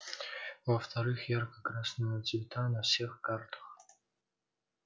во-вторых ярко-красного цвета на всех картах